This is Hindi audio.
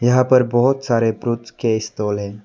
यहां पर बहुत सारे फ्रूट्स के स्टाल है।